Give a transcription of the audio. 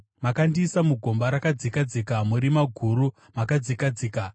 Makandiisa mugomba rakadzika dzika, murima guru makadzika dzika.